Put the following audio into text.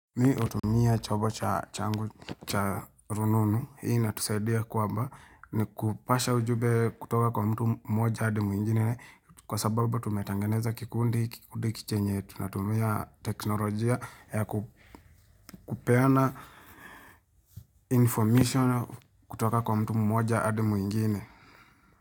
Mii utumia chombo cha changu cha rununu hii inatusaidia kwamba ni kupasha ujumbe kutoka kwa mtu mmoja adi mwingine kwa sababu tumetengeneza kikundi kikundi chenye tunatumia teknolojia ya kupeana information kutoka kwa mtu mmoja adi mwingine.